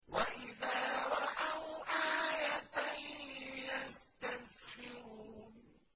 وَإِذَا رَأَوْا آيَةً يَسْتَسْخِرُونَ